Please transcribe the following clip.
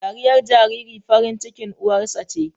Dariyar jariri farin cikin uwarsa ce